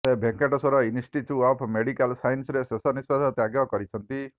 ସେ Venkateswara institute of medical ସାଇନ୍ସରେ ଶେଷ ନିଶ୍ୱାସ ତ୍ୟାବ କରିଛନ୍ତି